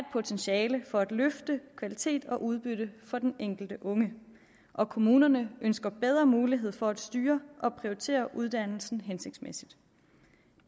potentiale for at løfte kvalitet og udbytte for den enkelte unge og kommunerne ønsker bedre mulighed for at styre og prioritere uddannelsen hensigtsmæssigt